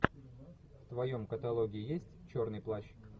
в твоем каталоге есть черный плащ